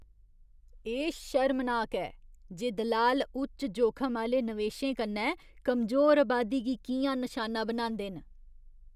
एह् शर्मनाक ऐ जे दलाल उच्च जोखम आह्‌ले नवेशें कन्नै कमजोर अबादी गी कि'यां नशाना बनांदे न।